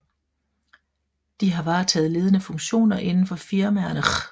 De har varetaget ledende funktioner inden for firmaerne Chr